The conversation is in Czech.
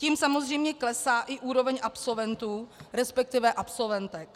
Tím samozřejmě klesá i úroveň absolventů, respektive absolventek.